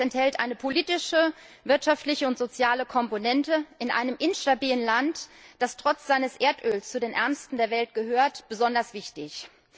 Es enthält eine politische, wirtschaftliche und soziale Komponente, was in einem instabilen Land, das trotz seines Erdöls zu den ärmsten der Welt gehört, besonders wichtig ist.